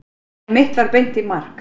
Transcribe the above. En mitt var beint í mark.